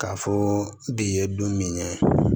K'a fɔ de ye don min ye